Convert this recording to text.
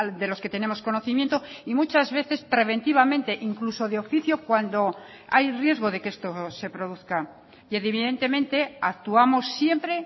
de los que tenemos conocimiento y muchas veces preventivamente incluso de oficio cuando hay riesgo de que esto se produzca y evidentemente actuamos siempre